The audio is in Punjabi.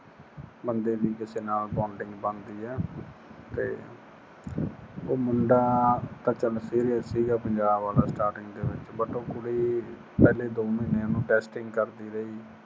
ਬੰਦੇ ਦੀ ਕਿਸੇ ਨਾਲ bonding ਬਣਦੀ ਏ ਤੇ ਉਹ ਮੁੰਡਾ ਤਾਂ ਚਲ serious ਸੀਗਾ ਪੰਜਾਬ ਦਾ starting starting ਦੇ ਵਿੱਚ ਪਰ ਉਹ ਕੁੜੀ ਪਹਿਲੇ ਦੋ ਮਹੀਨੇ ਉਹਨੂੰ testing ਕਰਦੀ ਰਹੀ